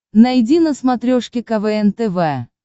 найди на смотрешке квн тв